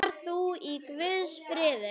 Far þú í Guðs friði.